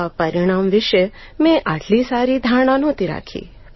આ પરિણામ વિષે મેં આટલી સારી ધારણા નહોતી રાખી